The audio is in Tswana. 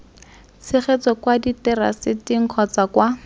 tshegetso kwa diteraseteng kgotsa kwa